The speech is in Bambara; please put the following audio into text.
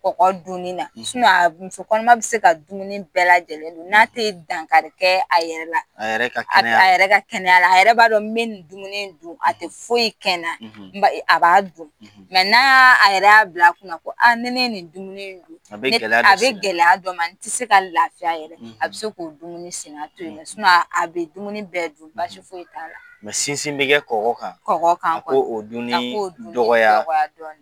Kɔgɔ dunin na Muso kɔnonman bɛ se ka dumunin bɛɛ la jɛnɛn dun n'a te dankarikɛ a yɛrɛ la; A yɛrɛ ka kɛnɛya, A yɛrɛ ka kɛnyala, a yɛrɛ b'a don n b'i ni dumuni dun a te fo yi kɛnɛ na; a b'a dun; n' a yɛrɛ ya bila kun ko a ni ne ye ni dumuni dun; A bɛ gɛlɛya A bɛ gɛlɛya dɔ ma n tɛ se ka lafiya yɛrɛ; a bɛ se k'o dumuni sinan to yen, a bɛ dumuni bɛɛ dun basi foyi ta la; sinsin bɛ kɔgɔ kan; Kɔgɔ kan; A k' o duni; A k'o duni; Dɔgɔya; Dɔgɔya dɔni